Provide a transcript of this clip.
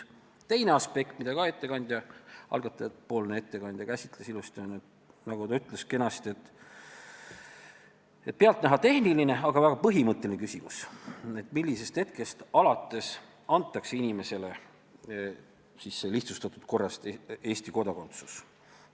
Teine aspekt, mida ka algatajapoolne ettekandja ilusti käsitles, on – nagu ta kenasti ütles – pealtnäha tehniline, aga väga põhimõtteline küsimus, et millisest hetkest alates lihtsustatud korras Eesti kodakondsus inimesele antakse.